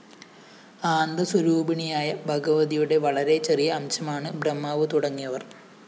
ആന്ദസ്വരൂപിണിയായ ഭഗവതിയുടെ വളരെ ചെറിയ അംശമാണ്‌ ബ്രഹ്മാവുതുടങ്ങിയവര്‍